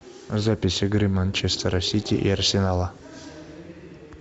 запись игры манчестера сити и арсенала